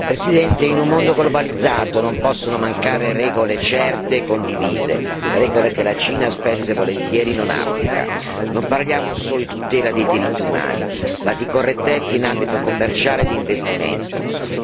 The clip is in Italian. Signor Presidente, onorevoli colleghi, in un mondo globalizzato non possono mancare regole certe e condivise, regole che la Cina spesso e volentieri non applica. Non parliamo solo di tutela dei diritti umani ma di correttezza in ambito commerciale e di investimento.